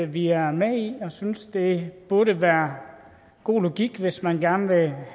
vi er med i og synes det burde være god logik hvis man gerne vil have